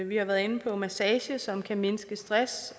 vi har været inde på massage som kan mindske stress